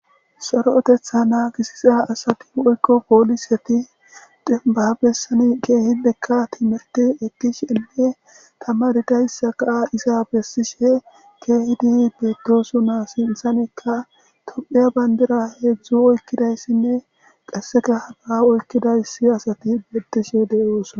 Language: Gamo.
saroetetha naa gisisa asati oykko pooliseti dinba bessani keehidekka timirti ittish enne tama didayssa kaa isa bessishe keehidi beetdoso naa sinthanekka tophiya bandira heedzdzu oykkidayssinne qasseka hanaa oykkidaysi asati betishe deyoosna